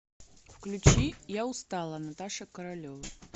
включи я устала наташа королева